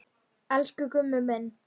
Elsku Gummi minn.